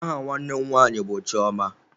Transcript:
Aha nwanne m nwanyị bụ Chioma.